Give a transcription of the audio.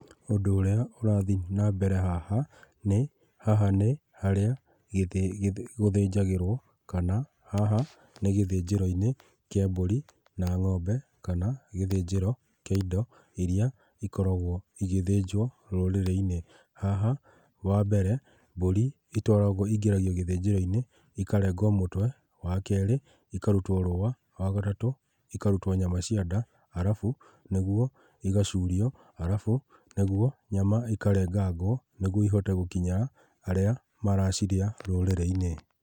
Ũndũ ũrĩa ũrathi na mbere haha nĩ haha nĩ harĩa gũthĩnjagĩrwo kana haha nĩ gĩthĩnjĩro-inĩ kĩ mbũri na ngombe kana gĩthĩnjĩro kĩ indo iria igĩthĩnjagwo rũrĩrĩ-inĩ. Haha wa mbere mbũri ĩingĩragio gĩthĩnjĩro-inĩ ikarengwo mũtwe wa kerĩ ikarutwo rũa wagatatũ ikarutwo nyama cia nda arabu nĩguo igacurio arabu nĩguo nyama ikarengagwo nĩguo ihote gũkinyĩra arĩa maracirĩa rũrĩrĩ-inĩ